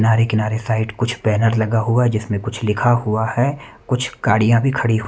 किनारे किनारे साइड कुछ बैनर लगा हुआ है जिसमे कुछ लिखा हुआ है कुछ गाड़िया भी खड़ी हु --